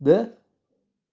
да